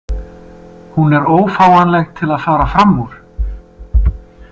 Hún er ófáanleg til að fara fram úr.